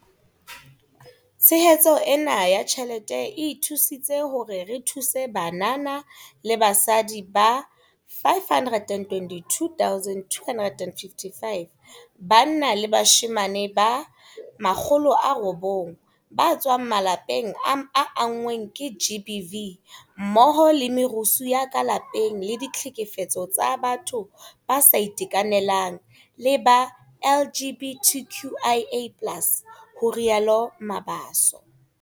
Tshehetso ena ya tjhelete e thusitse hore re thuse banana le basadi ba 522 255 banna le bashemane ba 900 ba tswang malapeng a anngweng ke GBV mmoho le merusu ya ka lapeng le ditlhekefetso tsa batho ba sa itekanelang le ba LGBTQIA+ ho rialo Mabaso.